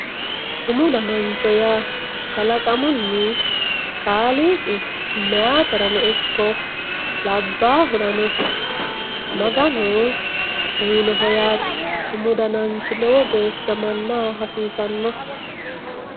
Umu danancho yaa kalaqamunni kaaliiqi meyaaterano ikko labbaahurano maganu uyinoho yaate. Umu dananchi lowo geeshsha mannaho hasiisanno.